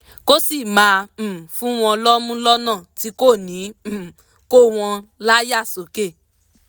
kó sì máa um fún wọn lọ́mú lọ́nà tí kò ní um kó wọn láyà sókè